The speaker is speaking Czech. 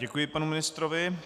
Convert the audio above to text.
Děkuji panu ministrovi.